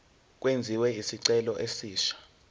kwenziwe isicelo esisha